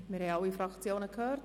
Wir haben alle Fraktionen gehört.